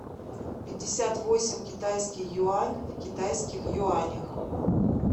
пятьдесят восемь китайский юань в китайских юанях